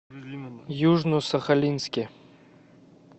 южно сахалинске